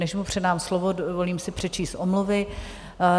Než mu předám slovo, dovolím si přečíst omluvy.